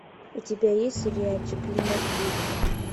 у тебя есть сериальчик клинок ведьм